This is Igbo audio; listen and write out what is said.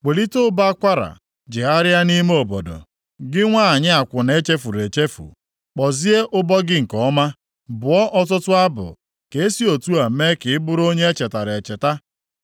“Welite ụbọ akwara, jegharịa nʼime obodo, gị nwanyị akwụna e chefuru echefu; kpọzie ụbọ gị nke ọma, bụọ ọtụtụ abụ, ka e si otu a mee ka ị bụrụ onye e chetara echeta.”